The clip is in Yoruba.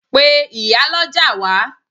Pe ìyálọ́jà wá!